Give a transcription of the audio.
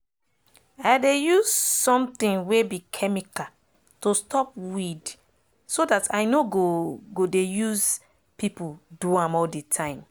i dey use sometin wey be chemical to stop weed so dat i nor go go dey use pipo do am all de time